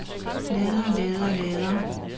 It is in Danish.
lader lader lader